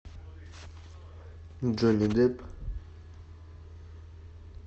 джонни депп